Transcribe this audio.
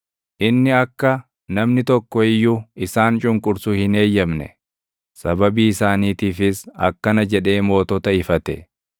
Inni akka namni tokko iyyuu isaan cunqursu hin eeyyamne; sababii isaaniitiifis akkana jedhee mootota ifate: